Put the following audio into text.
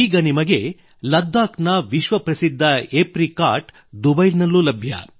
ಈಗ ನಿಮಗೆ ಲದ್ದಾಖ್ ನ ವಿಶ್ವ ಪ್ರಸಿದ್ಧ ಎಪ್ರಿಕಾಟ್ ಅಕ್ರೋಟ್ ದುಬೈನಲ್ಲೂ ಲಭ್ಯ